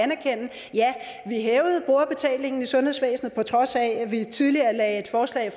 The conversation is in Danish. ja de hævede brugerbetalingen i sundhedsvæsenet på trods af at de tidligere lagde et forslag